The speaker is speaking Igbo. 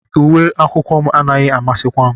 Uwe akwụkwọ m anaghị amasịkwa m